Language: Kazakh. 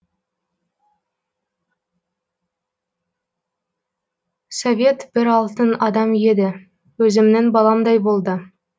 совет бір алтын адам еді өзімнің баламдай болды